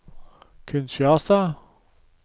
Kinshasa